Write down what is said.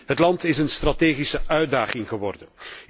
Het land is een strategische uitdaging geworden.